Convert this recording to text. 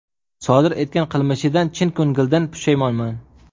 Sodir etgan qilmishidan chin ko‘ngildan pushaymonman.